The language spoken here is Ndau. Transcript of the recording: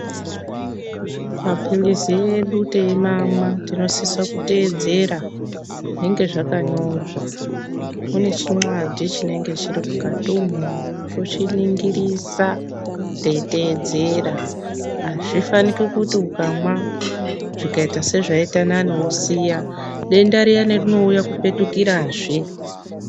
Mapilizi edu teyimamwa, tinosise kuteedzera zvinenge zvakanyorwa, mune chinwadhi chinenge chiri mukati umo, tochiningirisa teyiteedzera, azvifaniki kuti ukamwa zvikayita sezvayita nani wosiya, denda riyani rinouya kupetukirazve.